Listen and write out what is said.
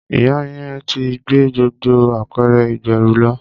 Ìyá yẹn ti gbé gbogbo apẹ̀rẹ̀ ìgbẹ́rù lọ.